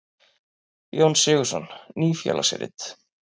Jón Sigurðsson: Ný félagsrit.